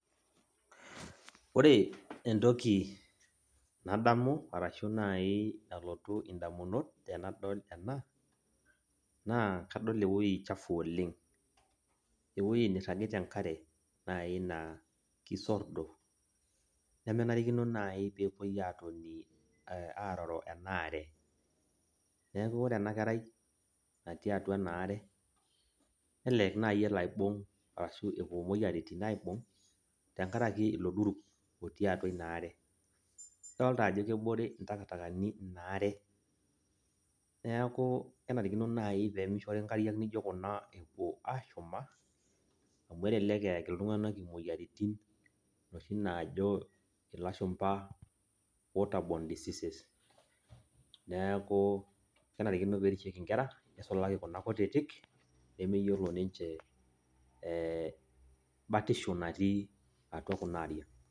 Ore entoki nadamu arashu nai nalotu indamunot tenadol ena, naa kadol ewoi chafu oleng. Ewoi nirragita enkare nai naa kisordo, nemenarikino nai pepoi atoni aroro enaare. Neeku ore enakerai, natii atua enaare, nelelek nai elo aibung' arashu epuo moyiaritin aibung',tenkaraki ilo duruk otii atua inaare. Adolta ajo kebore intakitakani inaare, neeku kenarikino nai pemishori nkariak naijo kuna epuo ashuma, amu elelek eeki iltung'anak imoyiaritin oshi naajo ilashumpa water borne diseases. Neeku kenarikino perishieki nkera, nisulaki kuna kutitik, nemeyiolo ninche batisho natii atua kunaariak.